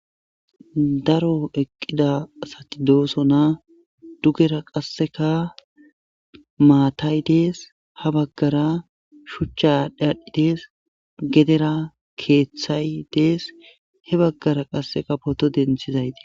daro eqqida sati dooso na dugera qasseka maatay dees ha baggara shuchchadhi adhdhidees gedera keeththay dees he baggara qasseka poto denthizayti